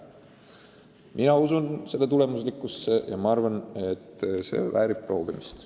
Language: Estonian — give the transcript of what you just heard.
Mina usun selle tulemuslikkusse ja see väärib proovimist.